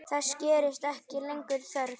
Þess gerist ekki lengur þörf.